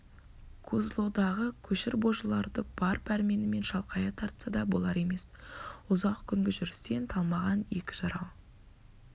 козлодағы көшір божыларды бар пәрменімен шалқая тартса да болар емес ұзақ күнгі жүрістен талмаған екі жарау